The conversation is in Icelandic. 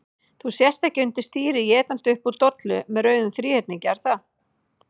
Þú sest ekki undir stýri étandi upp úr dollu með rauðum þríhyrningi, er það?